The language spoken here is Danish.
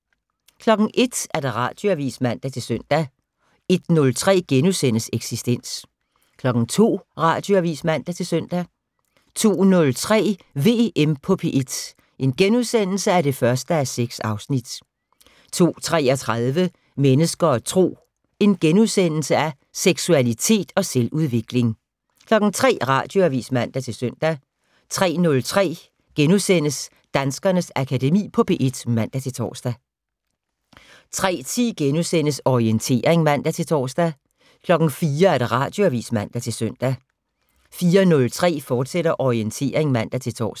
01:00: Radioavis (man-søn) 01:03: Eksistens * 02:00: Radioavis (man-søn) 02:03: VM på P1 (1:6)* 02:33: Mennesker og Tro: Seksualitet og selvudvikling * 03:00: Radioavis (man-søn) 03:03: Danskernes Akademi på P1 *(man-tor) 03:10: Orientering *(man-tor) 04:00: Radioavis (man-søn) 04:03: Orientering, fortsat (man-tor)